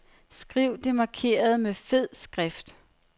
Skriv det markerede med fed skrift.